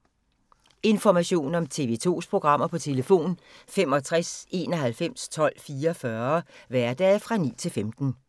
Information om TV 2's programmer: 65 91 12 44, hverdage 9-15.